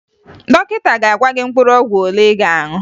Dọkịta ga-agwa gị mkpụrụ ọgwụ ole ị ga-aṅụ